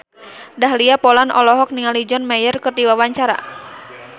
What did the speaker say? Dahlia Poland olohok ningali John Mayer keur diwawancara